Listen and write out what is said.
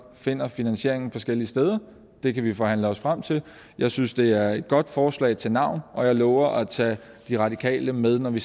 finder finansieringen forskellige steder det kan vi forhandle os frem til jeg synes det er et godt forslag til navn og jeg lover at tage de radikale med når vi